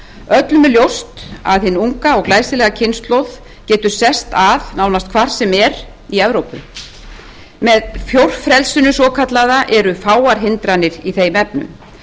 öllum er ljóst að hin unga og glæsilega kynslóð getur sest að nánast hvar sem er í evrópu með fjórfrelsinu svokallaða eru fáar hindranir í þeim efnum